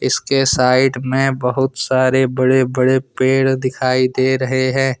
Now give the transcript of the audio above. इसके साइड में बहुत सारे बड़े बड़े पेड़ दिखाई दे रहे हैं।